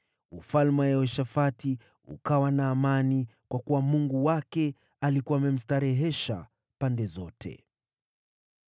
Ufalme wa Yehoshafati ukawa na amani, kwa kuwa Mungu wake alikuwa amemstarehesha pande zote.